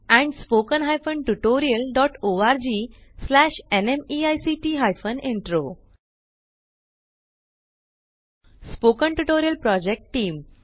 spoken tutorial project team